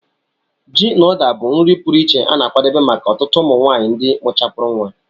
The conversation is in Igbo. Ji na Uda bụ nri pụrụ iche a na-akwadebe maka ọtụtụ ụmụ nwanyị ndị mụchapúrụ nwa